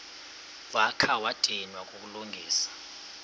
wakha wadinwa kukulungisa